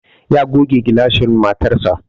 Ya goge gilashin motarsa.